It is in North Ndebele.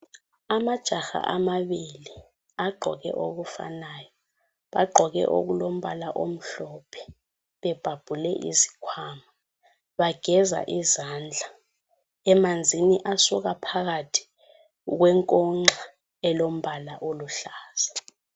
Amajaha amabili agqoke okufanayo. Bagqoke okulombala omhlophe bebhabhule izikhwama. Bageza izandla emanzini asuka phakathi kwenkonxa elombala oluhlaza.